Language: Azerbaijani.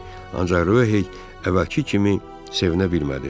Ancaq Röhey əvvəlki kimi sevinə bilmədi.